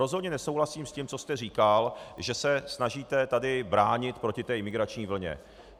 Rozhodně nesouhlasím s tím, co jste říkal, že se snažíte tady bránit proti té imigrační vlně.